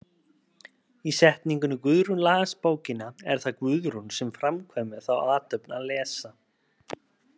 Í setningunni Guðrún las bókina er það Guðrún sem framkvæmir þá athöfn að lesa.